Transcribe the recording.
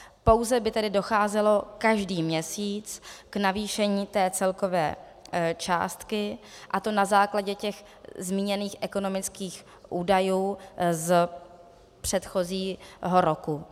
Pouze by tedy docházelo každý měsíc k navýšení té celkové částky, a to na základě těch zmíněných ekonomických údajů z předchozího roku.